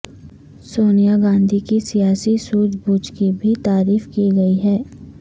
سونیا گاندھی کی سیاسی سوجھ بوجھ کی بھی تعریف کی گئی ہے